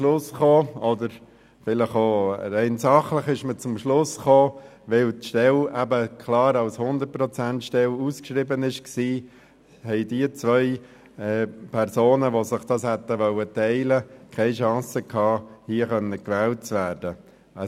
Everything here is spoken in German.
Leider kam man rein sachlich zum Schluss, dass diese beiden Personen, die sich die Stelle teilen wollten, keine Chance gehabt hätten, hier gewählt zu werden, da die Stelle klar als 100-ProzentStelle ausgeschrieben war.